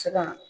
Se ka